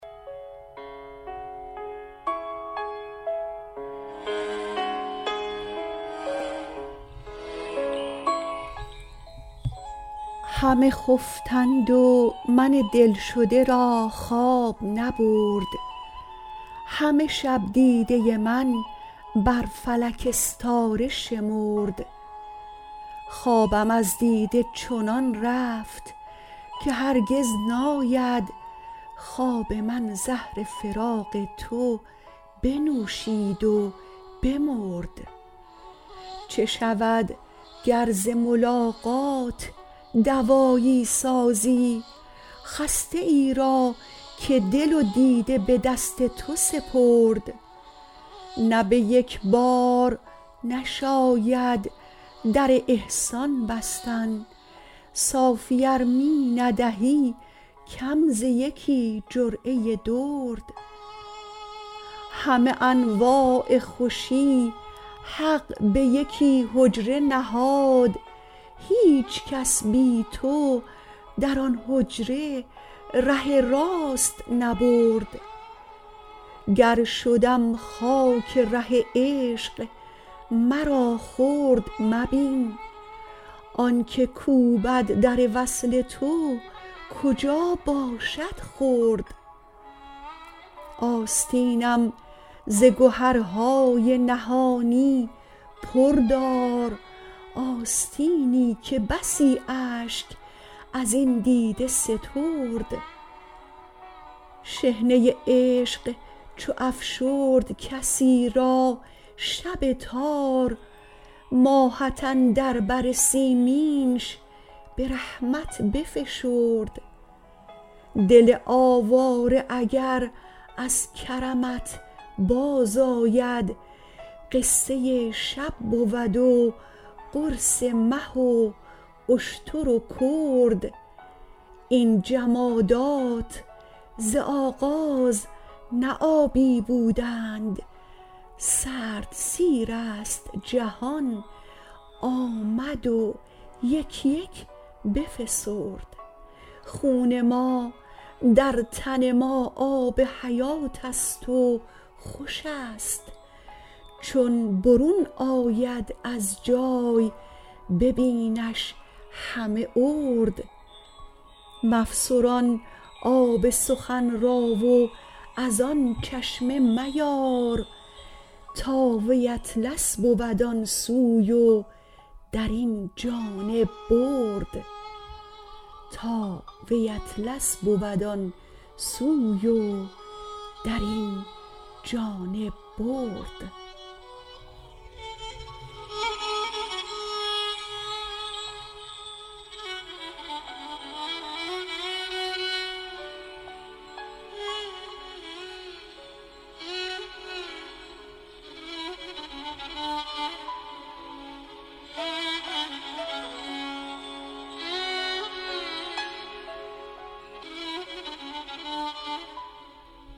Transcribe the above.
همه خفتند و من دلشده را خواب نبرد همه شب دیده من بر فلک استاره شمرد خوابم از دیده چنان رفت که هرگز ناید خواب من زهر فراق تو بنوشید و بمرد چه شود گر ز ملاقات دوایی سازی خسته ای را که دل و دیده به دست تو سپرد نه به یک بار نشاید در احسان بستن صافی ار می ندهی کم ز یکی جرعه درد همه انواع خوشی حق به یکی حجره نهاد هیچ کس بی تو در آن حجره ره راست نبرد گر شدم خاک ره عشق مرا خرد مبین آنک کوبد در وصل تو کجا باشد خرد آستینم ز گهرهای نهانی پر دار آستینی که بسی اشک از این دیده سترد شحنه عشق چو افشرد کسی را شب تار ماهت اندر بر سیمینش به رحمت بفشرد دل آواره اگر از کرمت بازآید قصه شب بود و قرص مه و اشتر و کرد این جمادات ز آغاز نه آبی بودند سرد سیرست جهان آمد و یک یک بفسرد خون ما در تن ما آب حیاتست و خوش است چون برون آید از جای ببینش همه ارد مفسران آب سخن را و از آن چشمه میار تا وی اطلس بود آن سوی و در این جانب برد